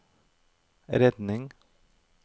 redning